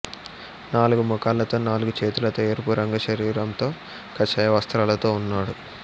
నాలుగు ముఖాలతో నాలుగు చేతులతో ఎరుపు రంగు శరీరంతో కాషాయ వస్త్రాలతో ఉన్నాడు